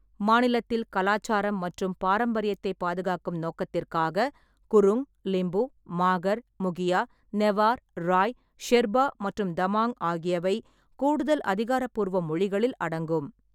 மாநிலத்தில் கலாச்சாரம் மற்றும் பாரம்பரியத்தைப் பாதுகாக்கும் நோக்கத்திற்காக குருங், லிம்பு, மாகர், முகியா, நெவார், ராய், ஷெர்பா மற்றும் தமாங் ஆகியவை கூடுதல் அதிகாரப்பூர்வ மொழிகளில் அடங்கும்.